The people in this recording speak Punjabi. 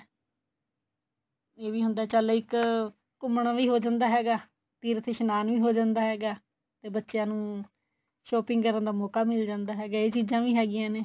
ਇਹ ਵੀ ਹੁੰਦਾ ਚੱਲ ਇੱਕ ਘੁੰਮਣਾ ਵੀ ਹੋ ਜਾਂਦਾ ਹੈਗਾ ਤੀਰਥ ਇਸ਼ਨਾਨ ਵੀ ਹੋ ਜਾਂਦਾ ਹੈਗਾ ਤੇ ਬੱਚਿਆਂ ਨੂੰ shopping ਕਰਨ ਦਾ ਮੋਕਾ ਮਿਲ ਜਾਂਦਾ ਹੈਗਾ ਇਹ ਚੀਜ਼ਾਂ ਵੀ ਹੈਗੀਆਂ ਨੇ